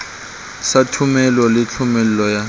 sa thomelo le thomello ya